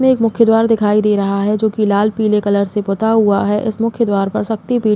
इसमें एक मुख्य द्वार दिखाई दे रहा है जो कि लाल पीले कलर से पूता हुआ है। इस मुख्य द्वार पर शक्ति पीठ --